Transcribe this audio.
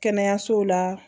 Kɛnɛyaso la